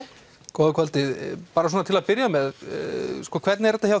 góða kvöldið bara svona til að byrja með hvernig er þetta hjá